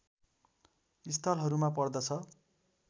स्थलहरूमा पर्दछ